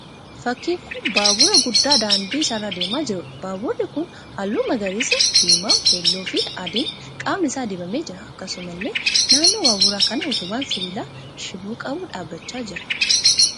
Fakkiin kun baabura guddaa daandii isaa irra deemaa jiruudha. Baaburri kun halluu magariisa, diimaa, keelloo fi adiin qaamni isaa dibamee jira. Akkasumallee naannoo baabura kanaa utubaan sibiilaa shiboo qabu dhaabbachaa jira.